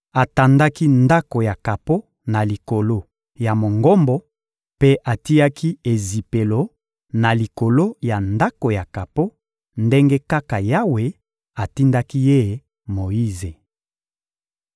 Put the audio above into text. atandaki ndako ya kapo na likolo ya Mongombo mpe atiaki ezipelo na likolo ya ndako ya kapo, ndenge kaka Yawe atindaki ye Moyize.